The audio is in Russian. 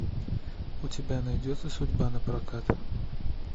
у тебя найдется судьба напрокат